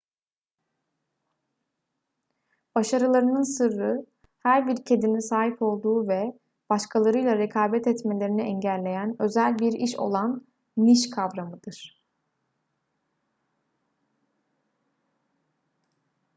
başarılarının sırrı her bir kedinin sahip olduğu ve başkalarıyla rekabet etmelerini engelleyen özel bir iş olan niş kavramıdır